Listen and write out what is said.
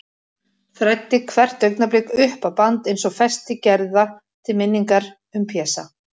Þræddi hvert augnablik upp á band, eins og festi gerða til minningar um Pésa.